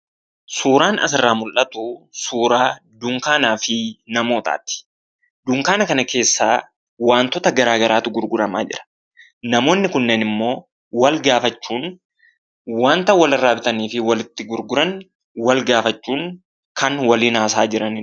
Suuraan as irraa mul'atu, suuraa dunkaanaafi suuraa namootaati. Dunkaana kana keessa wantoota garagaraatu gurguramaa jira. Namoonni kunneenimmoo wal-gaafachuun ,wanta wal-irraa bitanii fi walitti gurguran wal-gaafachuun kan waliin haasa'aa jiraniidha.